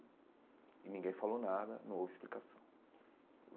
E ninguém falou nada, não houve explicação.